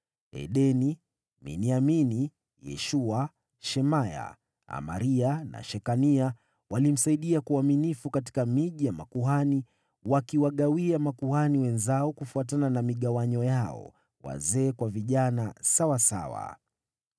Edeni, Miniamini, Yeshua, Shemaya, Amaria na Shekania walimsaidia kwa uaminifu katika miji ya makuhani, wakiwagawia makuhani wenzao kufuatana na migawanyo yao, wazee kwa vijana sawasawa.